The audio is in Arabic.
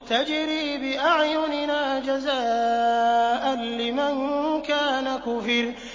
تَجْرِي بِأَعْيُنِنَا جَزَاءً لِّمَن كَانَ كُفِرَ